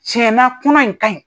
Cɛn na kɔnɔ in ka ɲi.